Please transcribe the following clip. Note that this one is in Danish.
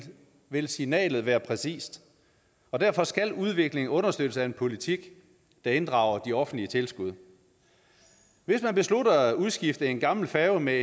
vil signalet være præcist og derfor skal udviklingen understøttes af en politik der inddrager de offentlige tilskud hvis man beslutter at udskifte en gammel færge med